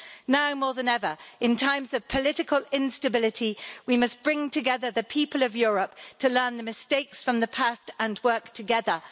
Now more than ever in times of political instability, we must bring together the people of Europe to learn the mistakes of the past and work together.